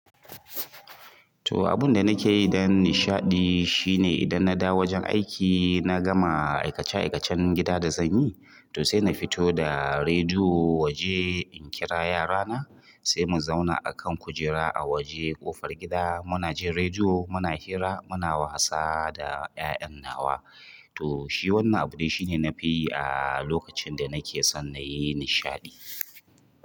To abun da nake yi don nishaɗi shine idan na dawo wajen aiki, na gama aikace-aikacen gida da zan yi, to sai na fito da rediyo waje in kira yara na, sai mu zauna a kan kujera a waje ƙofar gida muna jin rediyo muna hira muna wasa da ƴaƴan nawa. To shi wannan abu dai shine nafi yi a lokacin da nakeson nayi nishaɗi.